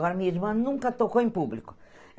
Agora, minha irmã nunca tocou em público.